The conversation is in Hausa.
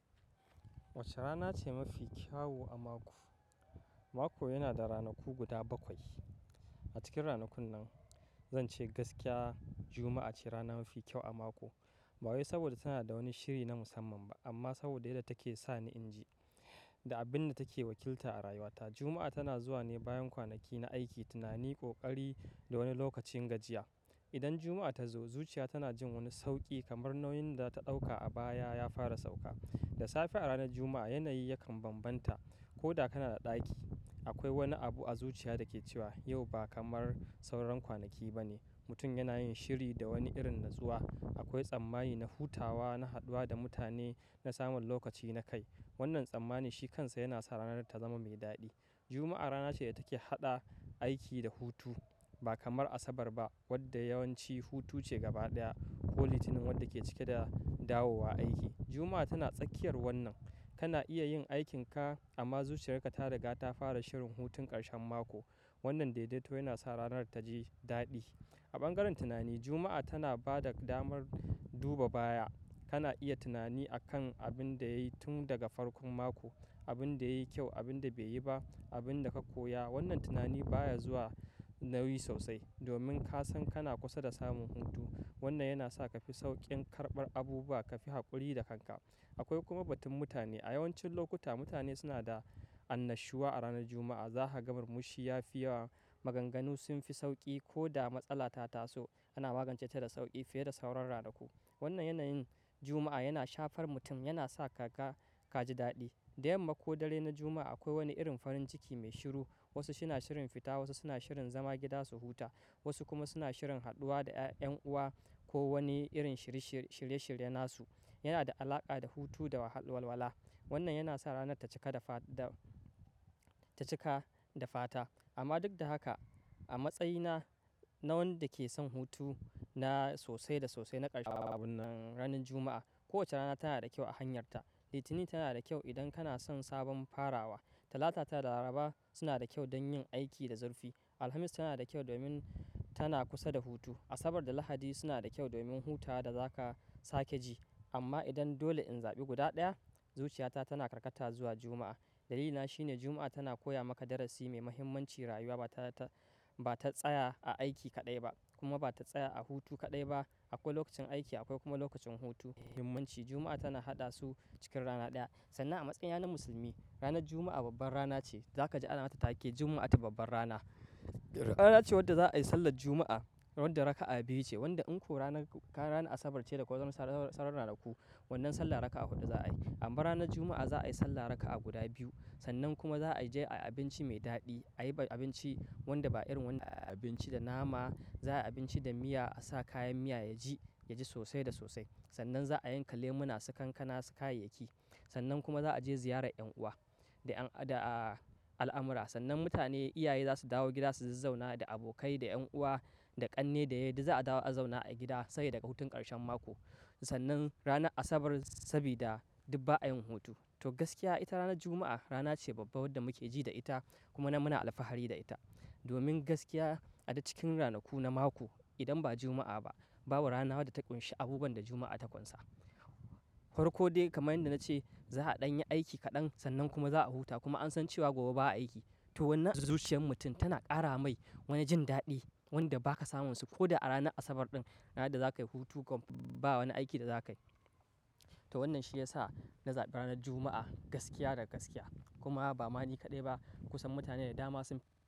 Wacce rana ce mafi kyau a mako? Mako yana da ranaku guda bakwai. A cikin ranakun nan, zan ce gaskiya Juma'a ce rana mafi kyau a mako. Ba wai saboda tana da wani shiri na musamman ba amma saboda daya take sa ni inji da abin da take wakilta a rayuwa ta. Juma'a tana zuwa ne bayan kwanaki na aiki, tunani, ƙoƙari da wani lokacin gajiya. Idan Juma'a ta zo, zuciya tana jin wani sauƙi kamar nauyin da ta ɗauka a baya ya fara sauka. Da safe a ranar Juma'a, yanayi yakan bambanta. Koda kana a ɗaki, akwai wani abu a zuciya dake cewa yau ba kamar sauran kwanaki ba ne. Mutum yana yin shiri da wani irin natsuwa. Akwai tsammani na hutawa, na haɗuwa da mutane, na samun lokaci na kai. Wannan tsammani shi kansa yana sa ranar ta zama mai daɗi. Juma'a rana ce da take haɗa aiki da hutu. Ba kamar Asabar ba wadda yawanci hutu ce gaba ɗaya ko Litinin wadda ke cike da dawowa aiki. Juma'a tana tsakiyar wannan. Kana iya yin aikinka amma zuciyarka ta riga ta fara shirin hutun ƙarshen mako. Wannan daidaito yana sa ranar ta ji daɗi. A bangaren tunani, Juma'a tana ba da damar duba baya. Kana iya tunani akan abin da yayi tun daga farkon mako, abin da yayi kyau, abin da bai yi ba, abin da ka koya. Wannan tunani baya zuwa nauyi sosai domin ka san kana kusa da samun hutu. Wannan yana sa ka fi sauƙin karɓar abubuwa, ka fi haƙuri da kanka. Akwai kuma batun mutane. A yawancin lokuta mutane suna da annashuwa a ranar Juma'a. Za ka ga murmushi ya fi yawa, maganganu sun fi sauƙi ko da matsala ta taso, ana magance ta da sauƙi fiye da sauran ranaku. Wannan yanayin Juma'a yana shafar mutum, yana sa ka ga ka ji daɗi. Dayamma ko dare na Juma'a akwai wani irin farin ciki mai shiru. Wasu suna shirin fita, wasu suna shirin zama gida su huta, wasu kuma suna shirin haɗuwa da 'yan uwa ko wani irin shirye-shirye nasu. Yana da alaƙa da hutu da walwala. Wannan yana sa rana ta cika da fata. Amma duk da haka a matsayi na na wanda ke son hutu na sosai da sosai na ƙarshen ranar Juma'a. Kowacce rana tana da kyau a hanyarta. Litinin tana da kyau idan kana son sabon farawa. Talata da Laraba suna da kyau don yin aiki da zurfi. Alhamis tana da kyau domin tana kusa da hutu. Asabar da Lahadi suna da kyau domin hutawa da za ka sake ji. Amma idan dole in zaɓi guda ɗaya, zuciyata tana karkata zuwa Juma'a. Dalilina shine Juma'a tana koya maka darasi mai mahimmancin rayuwa ba ta tsaya a aiki kaɗai ba kuma ba ta tsaya a hutu kaɗai ba. Akwai lokacin aiki akwai kuma lokacin hutu. Mahimmanci Juma'a tana haɗa su cikin rana ɗaya. Sannan a matsayi na na musulmi, ranar Juma'a babbar rana ce. Za ka ji anata take Juma'a ta babbar rana. Rana ce wadda za a yi sallar Juma'a wanda raka'a biyu ce. Wadda in ko ka yi ranar Asabar ce da kuwa sauran ranaku, wannan sallar raka'a huɗu za a yi. Amma ranar Juma'a za a yi sallar raka'a guda biyu. Sannan kuma za a je abinci mai daɗi. A yi abinci wanda ba irin wanda abinci da nama. Za a yi abinci da miya a sa kayan miya yaji yaji sosai da sosai. Sannan za a yanka lemona su kankana su kayayyaki. Sannan kuma za a je ziyarar 'yan uwa da al'amura. Sannan mutane, iyaye za su dawo gida su zazzauna da abokai, da 'yan uwa, da ƙanne da yadi za a dawo a zauna a gida sai daga hutun ƙarshen mako. Sannan ranar Asabar sabida duk ba a yin hutu. To gaskiya ita ranar Juma'a rana ce babba wadda muke ji da ita kuma muna alfahari da ita. Domin gaskiya a duk cikin ranaku na mako, idan ba Juma'a ba, babu rana wadda ta ƙunshi abubuwan da Juma'a ta ƙunsa. Farko dai kamar yadda na ce za ɗan yi aiki kaɗan sannan kuma za a huta kuma an san cewa gobe ba a aiki. To wannan zuciyar mutum tana ƙara mai wani jin daɗi wanda ba ka samunsu ko a ranar Asabar ɗin ranar da za ka yi hutu kuma ba wani aiki da za ka yi. To wannan shi ya sa na zaɓi ranar Juma'a gaskiya da gaskiya. Kuma ba ma ni kaɗai ba kusan mutane da dama sun.